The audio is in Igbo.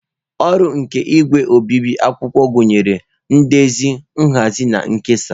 Ọrụ nke igwe obibi akwụkwọ gụnyere ndezi, nhazi na nkesa.